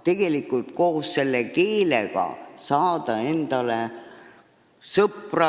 siinsamas ühiskonnas koos selle keelega saada endale ka sõpru.